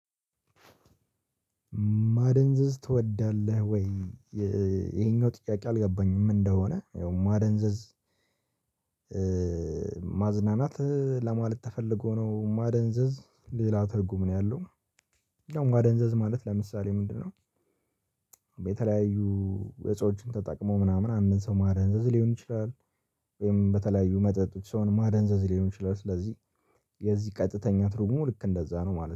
ማደንዘዝ ትወዳለህ ወይ? ይሄኛው ጥያቄ አልገባኝም ምን እንደሆነ ያው ማደንዘዝ ማዝናናት ለማለት ተፈልጎ ነው ማደንዘዝ ሌላ ትርጉም ነው ያለው። ያው ማደንዘዝ ማለት ለምሳሌ ምንድነው? የተለያዩ እጾችን ተጠቅሞ ምናምን ሰው ማደንዘዝ ሊሆን ይችላል። ወይም በተለያዩ መጠጥ ሰውን ማደንዘዝ ሊሆን ይችላል። ስለዚህ የዚህ ቀጥተኛ ትርጉሙ ልክ እንደዛ ነው ማለት ነው